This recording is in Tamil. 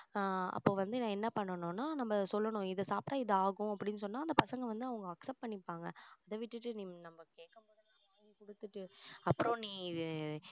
ஆஹ் அப்போ வந்து நான் என்ன பண்ணனும்னா நம்ம சொல்லணும் இதை சாப்பிட்டா இது ஆகும் அப்படின்னு சொன்னா அந்த பசங்க வந்து அவங்க accept பண்ணிப்பாங்க அதை விட்டுட்டு நம்ம கேக்கும் போதெல்லாம் வாங்கி கொடுத்துட்டு அப்புறம் நீ